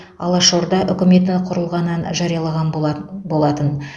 алаш орда үкіметі құрылғаннан жарияланған болатын